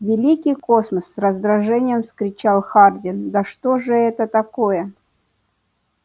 великий космос с раздражением вскричал хардин да что же это такое